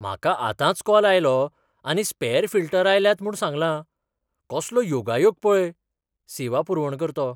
म्हाका आतांच कॉल आयलो आनी स्पॅर फिल्टर आयल्यात म्हूण सांगलां. कसलो योगायोग पळय सेवा पुरवणकर्तो